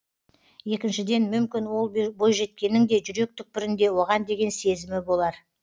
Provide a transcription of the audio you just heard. екіншіден мүмкін ол бойжеткеннің де жүрек түкпірінде оған деген сезімі болар